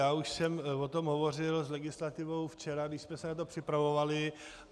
Já už jsem o tom hovořil s legislativou včera, když jsme se na to připravovali.